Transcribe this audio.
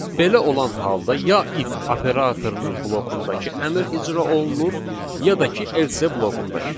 Belə olan halda ya if operatorunun blokundakı əmr icra olunur, ya da ki else blokundakı.